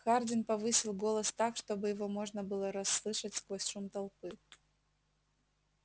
хардин повысил голос так чтобы его можно было расслышать сквозь шум толпы